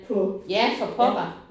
Ja for pokker!